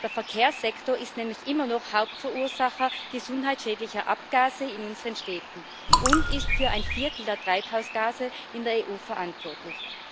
Der Verkehrssektor ist nämlich immer noch Hauptverursacher gesundheitsschädlicher Abgase in unseren Städten und ist für ein Viertel der Treibhausgase in der EU verantwortlich.